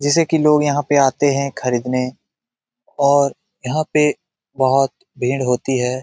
जिसे कि लोग यहाँ पे आते हैं खरीदने और यहाँ पे बहुत भीड़ होती हैं।